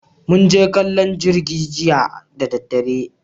Mun je kallon jirgi jiya da daddare